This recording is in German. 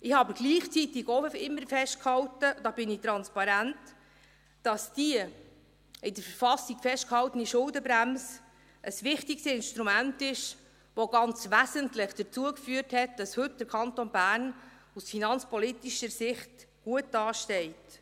Ich hielt aber gleichzeitig auch immer fest – da bin ich transparent –, dass die in der KV festgehaltene Schuldenbremse ein wichtiges Instrument ist, das ganz wesentlich dazu geführt hat, dass der Kanton Bern heute aus finanzpolitischer Sicht gut dasteht.